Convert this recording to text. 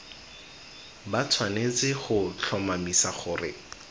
ba tshwanetse go tlhomamisa gore